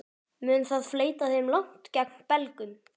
Mun það fleyta þeim langt gegn Belgum?